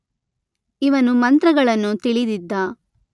ಇವನು ಮಂತ್ರಗಳನ್ನು ತಿಳಿದಿದ್ದ.